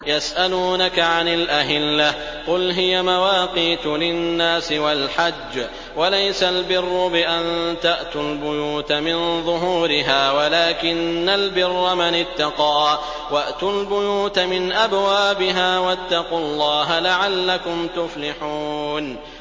۞ يَسْأَلُونَكَ عَنِ الْأَهِلَّةِ ۖ قُلْ هِيَ مَوَاقِيتُ لِلنَّاسِ وَالْحَجِّ ۗ وَلَيْسَ الْبِرُّ بِأَن تَأْتُوا الْبُيُوتَ مِن ظُهُورِهَا وَلَٰكِنَّ الْبِرَّ مَنِ اتَّقَىٰ ۗ وَأْتُوا الْبُيُوتَ مِنْ أَبْوَابِهَا ۚ وَاتَّقُوا اللَّهَ لَعَلَّكُمْ تُفْلِحُونَ